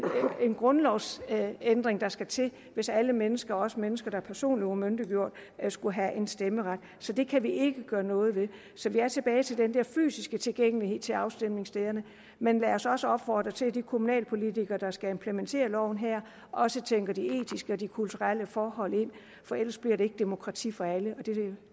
grundlovsændring der skal til hvis alle mennesker også mennesker der er personlig umyndiggjort skulle have en stemmeret så det kan vi ikke gøre noget ved så vi er tilbage til den der fysiske tilgængelighed til afstemningsstederne men lad os også opfordre til at de kommunalpolitikere der skal implementere loven her også tænker de etiske og de kulturelle forhold ind for ellers bliver det ikke demokrati for alle og